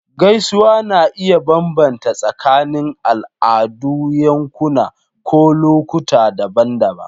Gaisuwa na iya bambanta tsakanin al'adu, yankuna, ko lokuta daban-daban.